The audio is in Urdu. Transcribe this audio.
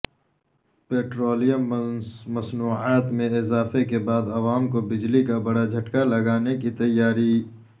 پٹرولیم مصنوعات میں اضافے کے بعد عوام کو بجلی کا بڑا جھٹکا لگانے کی تیاری